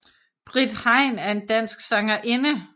Britt Hein er en dansk sangerinde